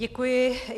Děkuji.